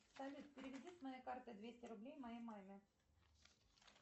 салют переведи с моей карты двести рублей моей маме